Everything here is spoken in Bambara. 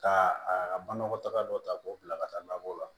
Ka a banakɔtaga dɔ ta k'o bila ka taa labɔ o la